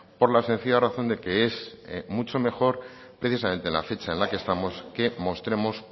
por la sencilla razón de que es mucho mejor precisamente en la fecha en la que estamos que mostremos